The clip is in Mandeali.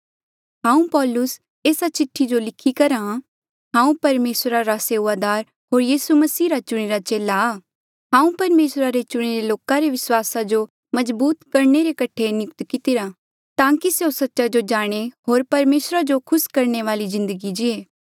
हांऊँ पौलुस एस्सा चिठ्ठी जो लिख्या करहा हांऊँ परमेसरा रा सेऊआदार होर यीसू मसीह रा चुणिरा चेला आ हांऊँ परमेसरा रे चुणिरे लोका रे विस्वासा जो मजबूत करणे रे कठे नियुक्त कितिरा ताकि स्यों सच्चा जो जाणे होर परमेसरा जो खुस करणे वाली जिन्दगी जीए